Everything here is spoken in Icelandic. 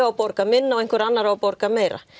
borga minna og einhver annar á að borga meira